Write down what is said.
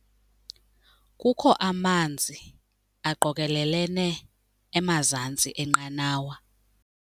Kukho amanzi aqokelelene emazantsi enqanawa.